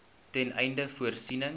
ten einde voorsiening